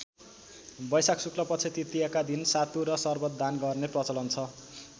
वैशाख शुक्लपक्ष तृतीयाका दिन सातु र सर्वत दान गर्ने प्रचलन छ।